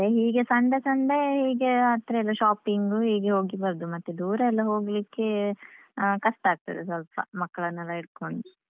ಮತ್ತೆ ಹೀಗೆ Sunday Sunday ಹೀಗೆ ಹತ್ರದ shopping ಹೀಗೆ ಹೋಗಿ ಬರುದು, ಮತ್ತೆ ದೂರ ಎಲ್ಲ ಹೋಗ್ಲಿಕ್ಕೆ ಆ ಕಷ್ಟ ಆಗ್ತದೆ ಸ್ವಲ್ಪ ಮಕ್ಕಳನ್ನೆಲ್ಲ ಹಿಡ್ಕೊಂಡು.